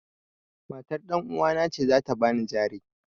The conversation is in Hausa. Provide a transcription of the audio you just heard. Matar ɗanuwana ce za ta ban jare.